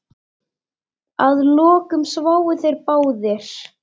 Að lokum sváfu þeir báðir.